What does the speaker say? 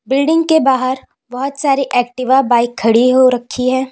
Building के बाहर बहोत सारी एक्टिवा बाइक खड़ी हो रखी है।